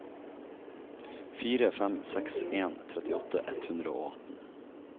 fire fem seks en trettiåtte ett hundre og atten